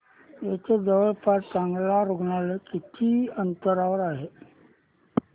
इथे जवळपास चांगलं रुग्णालय किती अंतरावर आहे